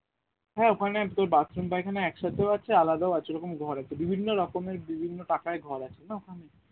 হ্যাঁ ওখানে তোর bathroom পায়খানা এক সাথে ও আছে আলাদা ও আছে এইরকম ঘরে বিভিন্ন রকমের বিভিন্ন টাকায় ঘর আছে না ওখানে